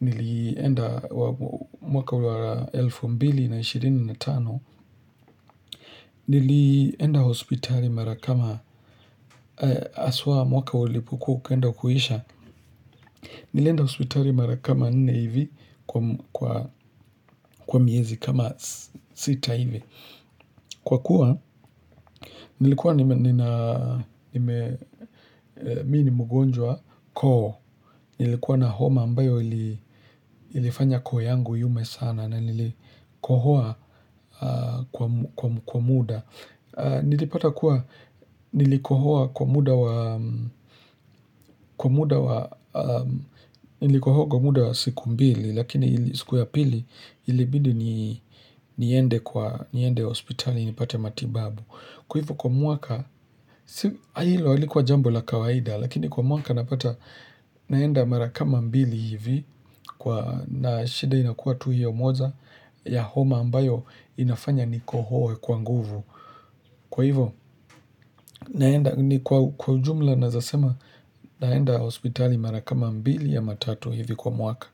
nilienda mwaka wa elfu mbili na ishirini na tano. Nilienda hospitali marakama, haswa mwaka ulipokuauki enda kuisha. Nilienda hospitali marakama nne hivi kwa miezi kama sita hivi. Kwa kuwa, nilikuwa mimini mgonjwa koo, nilikuwa na homa ambayo ilifanya kooyangu iume sana na nilikohoa kwa muda. Nilipata kuwa, nilikohoa kwa muda wa siku mbili, lakini siku ya pili, ilibidi niende kwa, niende hospitali, nipate matibabu. Kwa hivyo kwa mwaka, hilo halikuwa jambola kawaida, lakini kwa mwaka napata naenda marakama mbili hivi, na shida inakuwa tu hiyo moja ya homa ambayo inafanya nikohoe kwa nguvu. Kwa hivyo, naenda ni kwa ujumla nawezasema naenda hospitali marakama mbili ama tatu hivi kwa mwaka.